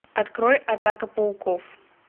открой атака пауков